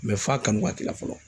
f'a kanu waati la fɔlɔ.